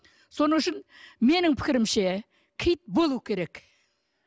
сол үшін менің пікірімше киіт болуы керек